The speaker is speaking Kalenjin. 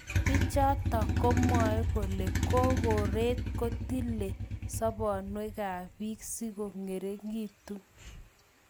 Pichatok komwae kole kokoret kutile sobonwekab bik siko ngeringitu